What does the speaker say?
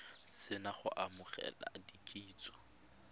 se na go amogela kitsiso